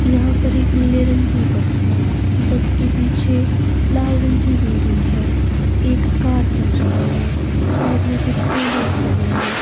यहां पर एक नीले रंग की बस है बस के पीछे लाल रंग की बिल्डिंग है एक कार चल रही है साइड में कुछ बैनर लगे हैं।